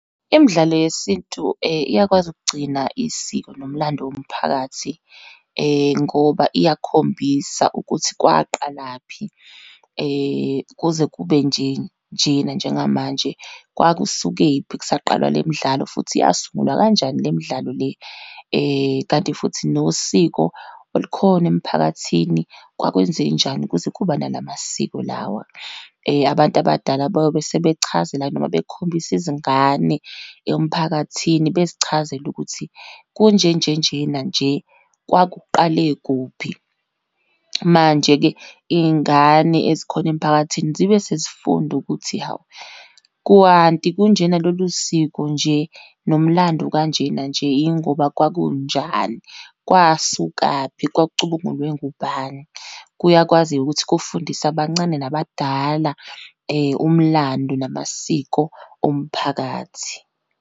Imidlalo yesintu iyakwazi ukugcina isiko nomlando womphakathi ngoba iyakhombisa ukuthi kwaqalaphi , kuze kube nje njena njengamanje, kwakusukephi kusaqalwa le midlalo, futhi yasungulwa kanjani le midlalo le. Kanti futhi nosiko olukhona emphakathini kwakwenzenjani kuze kuba nala masiko lawa. Abantu abadala bayobesebechazela, noma bekhombisa izingane emphakathini, bezichazele ukuthi kunjenjenjena nje kwakuqale kuphi. Manje-ke iy'ngane ezikhona emiphakathini zibe sezifunda ukuthi, hawu kwanti kunjena, lolu siko nje, nomlando ukanjena nje, yingoba kwakunjani, kwasukaphi, kwakucubungulwe ngubani. Kuyakwazi-ke ukuthi kufundise abancane nabadala, umlandu namasiko omphakathi.